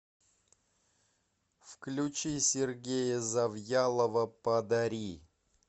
включи сергея завьялова подари